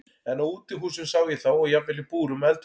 En á útihúsum sá ég þá og jafnvel í búrum og eldhúsum.